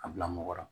A bila mɔgɔ la